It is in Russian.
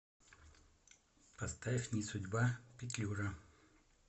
поставь не судьба петлюра